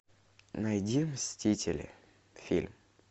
найди мстители фильм